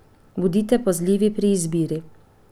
Bodite pazljivi pri izbiri.